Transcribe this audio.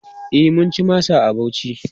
E, mun ci masa a Bauchi.